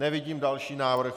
Nevidím další návrh.